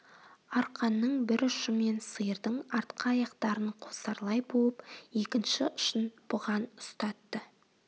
арқанның бір ұшымен сиырдың артқы аяқтарын қосарлай буып екінші ұшын бұған ұстатты